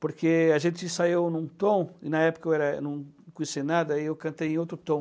Porque a gente ensaiou em um tom, e na época eu era eu não conhecia nada, eu cantei em outro tom.